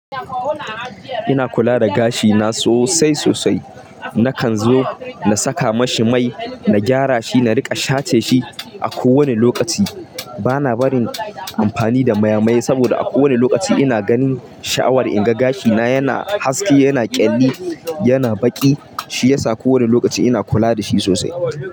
Ina kula da gashi na sosai sosai. Nakan zo na saka mashi mai, na gyara shi, na riƙa shace shi a ko wani lokaci. Bana barin amfani da mayamaye saboda a ko wani lokaci ina ganin sha'awar in ga gashi na yana haske, yana ƙyalli, yana baƙi. Shi yasa ko wani lokaci ina kula da shi sosai.